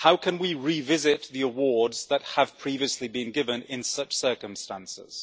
How can we revisit the awards that have previously been given in such circumstances?